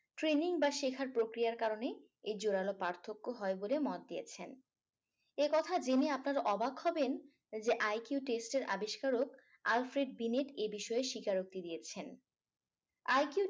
training বা শেখার প্রক্রিয়ার কারণেই এই জোড়ালো পার্থক্য হয় বলে মত দিয়েছেন এই কথা জেনে আপনারা অবাক হবেন যে IQ test এর আবিষ্কারক alfred binet এ বিষয়ে স্বীকারোক্তি দিয়েছেন IQ